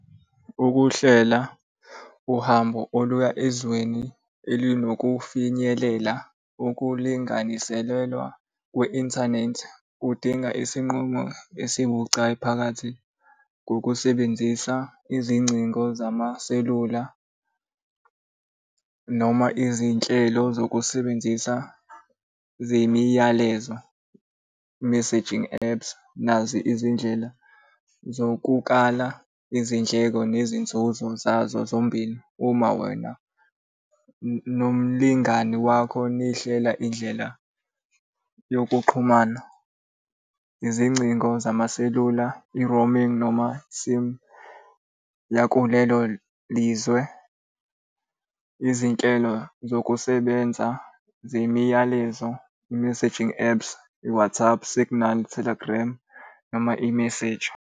Ukuhlela uhambo oluya ezweni elinokufinyelela okulinganiselwa kwi-inthanethi kudinga isinqumo esibucayi phakathi kokusebenzisa izingcingo zamaselula noma izinhlelo zokusebenzisa zemiyalezo messaging apps. Nazi izindlela zokukala izindleko nezinzuzo zazo zombili uma wena nomlingani wakho nihlela indlela yokuxhumana. Izingcingo zamaselula, i-roaming noma sim yakulelo lizwe. Izinhlelo zokusebenza zemiyalezo, i-messaging apps, i-WhatsApp, Signal, Telegram noma i-Messager.